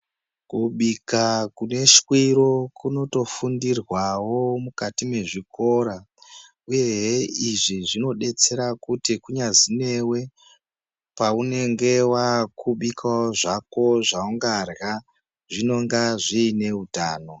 Kubika kune shwiro kunot ofundirwawo mukati mezvikora, uyehe izvi zvinodetsera kuti kunyazi newe, paunenge waakubikawo zvako zvaungarya, zvinonga zviine utano.